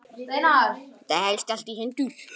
Þetta helst allt í hendur